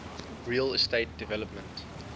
real estate development